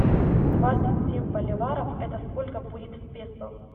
двадцать семь боливаров это сколько будет в песо